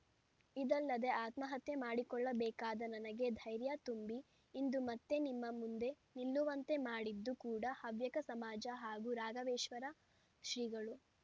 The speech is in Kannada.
ಇದಲ್ಲದೆ ಆತ್ಮಹತ್ಯೆ ಮಾಡಿಕೊಳ್ಳಬೇಕಾಗಿದ್ದ ನನಗೆ ಧೈರ್ಯ ತುಂಬಿ ಇಂದು ಮತ್ತೆ ನಿಮ್ಮ ಮುಂದೆ ನಿಲ್ಲುವಂತೆ ಮಾಡಿದ್ದೂ ಕೂಡ ಹವ್ಯಕ ಸಮಾಜ ಹಾಗೂ ರಾಘವೇಶ್ವರ ಶ್ರೀಗಳು